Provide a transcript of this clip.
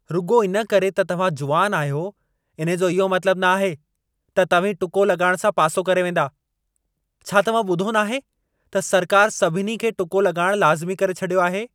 रुॻो इन करे त तव्हां जुवानु आहियो इन्हे जो इहो मतलबु न आहे त तव्हीं टुको लॻाइण सां पासो करे वेंदा। छा तव्हां ॿुधो नाहे त सरकारि सभिनी खे टुको लॻाइणु लाज़िमी करे छॾियो आहे?